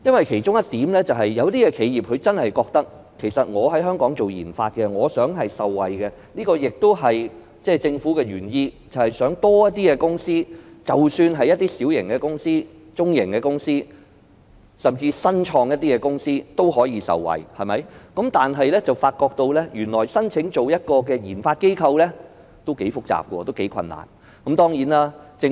其中一點是，有些企業認為本身在香港進行研發，希望能夠受惠——這亦是政府的原意，希望較多公司，無論是小型、中型甚至是初創的公司均能受惠，但他們發現原來申請成為研發機構是頗為複雜和困難的事。